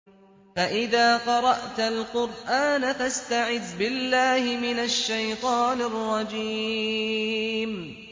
فَإِذَا قَرَأْتَ الْقُرْآنَ فَاسْتَعِذْ بِاللَّهِ مِنَ الشَّيْطَانِ الرَّجِيمِ